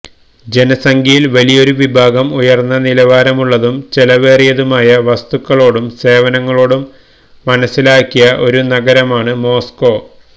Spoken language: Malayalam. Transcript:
ജനസംഖ്യയിൽ വലിയൊരു വിഭാഗം ഉയർന്ന നിലവാരമുള്ളതും ചെലവേറിയതുമായ വസ്തുക്കളോടും സേവനങ്ങളോടും മനസിലാക്കിയ ഒരു നഗരമാണ് മോസ്കോ